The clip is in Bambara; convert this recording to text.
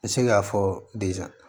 N bɛ se k'a fɔ